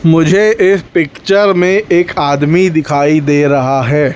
मुझे एक पिक्चर में एक आदमी दिखाई दे रहा है।